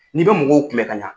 N'i bɛ mɔgɔw kun bɛ ka ɲa